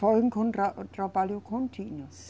Foi com um tra, trabalho contínuo.